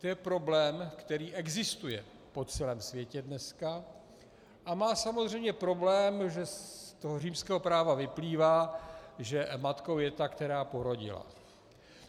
To je problém, který existuje po celém světě dneska a má samozřejmě problém, že z toho římského práva vyplývá, že matkou je ta, která porodila.